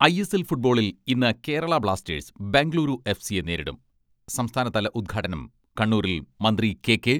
I S L ഫുട്ബോളിൽ ഇന്ന് Kerala Blasters Bengaluru F സിയെ നേരിടും. സംസ്ഥാനതല ഉദ്ഘാടനം കണ്ണൂരിൽ മന്ത്രി കെ.കെ.